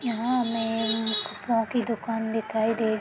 यहाँ हमें कपड़ो की दुकान दिखाई दे --